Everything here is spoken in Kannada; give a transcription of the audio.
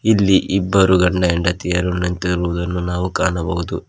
ಇಲ್ಲಿ ಇಬ್ಬರು ಗಂಡ ಹೆಂಡತಿಯರು ನಿಂತಿರುವುದನ್ನು ನಾವು ಕಾಣಬಹುದು.